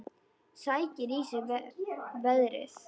Sækir í sig veðrið.